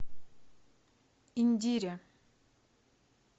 индире